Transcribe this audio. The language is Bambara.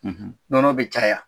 Nɔnɔ bɛ caya.